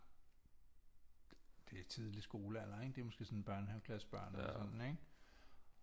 Det er tidlig skolealder ikke det er måske sådan børnehaveklassebørn eller sådan ikke